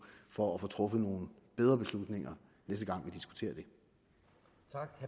for at få truffet nogle bedre beslutninger næste gang